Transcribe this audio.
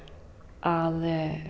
að